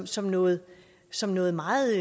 som noget som noget meget